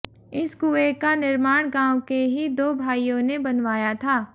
इस कुएं का निर्माण गांव के ही दो भाइयों ने बनवाया था